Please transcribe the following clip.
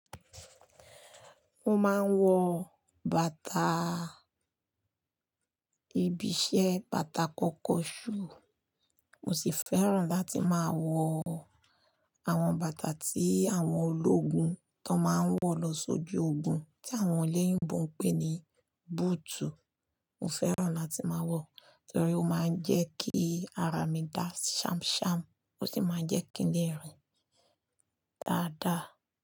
Mo máa ń wọ bàtà ibi iṣẹ́, bàtà kọ́kọ́ shoe. Mo sì fẹ́ràn láti máa wọ àwọn bàtà tí àwọn ológun tó máa ń wọ lọ sójú ogun tí àwọn oléyìnbó ń pè ní boot. Mo fẹ́ràn láti máa wọ̀, torí ó máa ń jẹ́ kí ara mi dá sham sham ó sì máa ń jẹ́ kí ń lè rìn dáadáa.